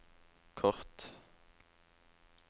kort